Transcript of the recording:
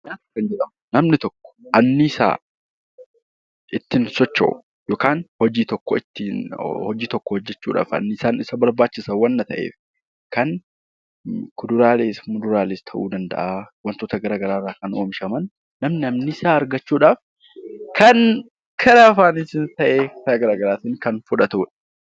Namni tokko anniisaa ittiin socho'u yookiin hojii tokko hojjachuuf anniisaa isa barbaachisa waan ta'eef, kan kuduraalees muduraalees ta'uu danda'a. Wantoota garaagaraa kan oomishaman kan anniisaa argachuudhaaf nu fayyadanidha.